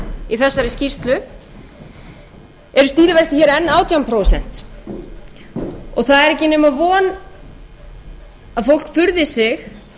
í þessari skýrslu en stýrivextir eru hér enn átján prósent það er ekki nema von að fólk furði sig til